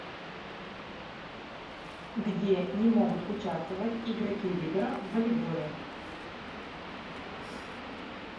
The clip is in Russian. где не могут участвовать игроки либеро в волейболе